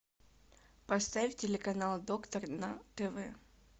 поставь телеканал доктор на тв